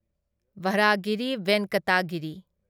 Varahagiri Venkata Giri